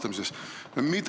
... olid selles osalised.